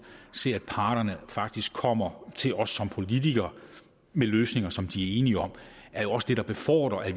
ser at parterne faktisk kommer til os som politikere med løsninger som de er enige om er jo også det der befordrer at